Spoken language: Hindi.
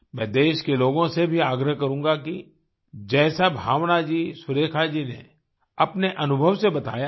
मैं देश के लोगों से भी आग्रह करूँगा कि जैसा भावना जी सुरेखा जी ने अपने अनुभव से बताया है